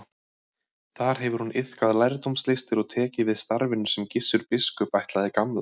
Þar hefur hún iðkað lærdómslistir og tekið við starfinu sem Gissur biskup ætlaði Gamla.